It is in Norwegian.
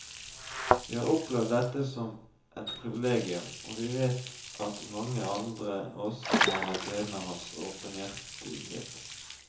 Vi har opplevd dette som et privilegium, og vi vet at mange andre også har hatt glede av hans åpenhjertighet.